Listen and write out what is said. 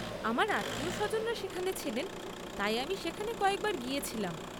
আমার আত্মীয়স্বজনরা সেখানে ছিলেন, তাই আমি সেখানে কয়েকবার গিয়েছিলাম।